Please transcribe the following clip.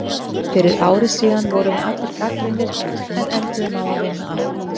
Fyrir ári síðan vorum við allir gagnrýnir en enduðum á að vinna allt.